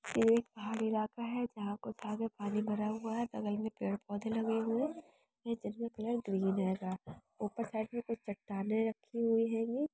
यह एक पहाड़ी इलाका है जहाँ को ताज़ा पानी भरा हुआ है। बगल में पेड़-पौधे लगे हुए हैं। यह जगह ग्रीन हेगा ऊपर साइड में कुछ चट्टानें रखी हुई हैंगी ।